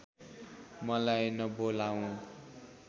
मलाई नबोलाऊ